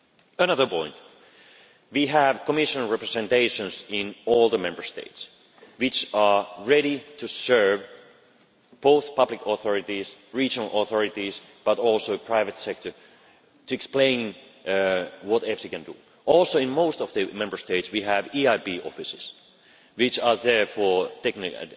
Another point is that we have Commission Representations in all the Member States, which are ready to serve both public authorities and regional authorities, but also the private sector, to explain what EFSI can do. In most Member States too we have EIB offices, which are there for technical